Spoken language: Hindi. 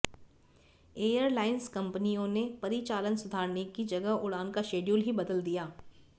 एयरलाइंस कंपनियों ने परिचालन सुधारने की जगह उड़ान का शेड्यूल ही बदल दिया